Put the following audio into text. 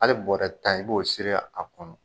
Hali bɔrɛ tan i b'o siri a kɔnɔ.